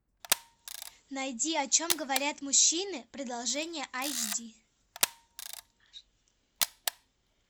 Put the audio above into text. найди о чем говорят мужчины продолжение айч ди